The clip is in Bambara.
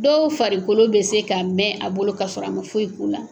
Dɔw farikolo bɛ se ka mɛn a bolo k'a sɔrɔ a ma foyi k'u la.